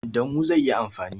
Da mu zai yi amfani.